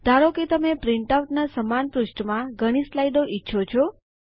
ધારો કે તમે પ્રિન્ટઆઉટના સમાન પૃષ્ઠમાં ઘણી સ્લાઇડ્સ ઈચ્છો છો